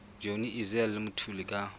johnny issel le mthuli ka